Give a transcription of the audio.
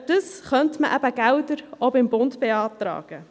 Und dafür könnte man eben Gelder auch beim Bund beantragen.